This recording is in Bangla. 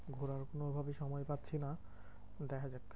ঘোড়ার কোনোভাবেই সময় পাচ্ছি না, দেখা যাক।